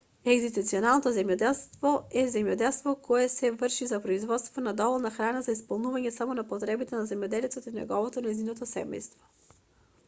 егзистенцијалното земјоделство е земјоделство кое се врши за производство на доволно храна за исполнување само на потребите на земјоделецот и неговото/нејзиното семејство